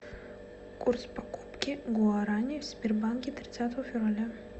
курс покупки гуарани в сбербанке тридцатого февраля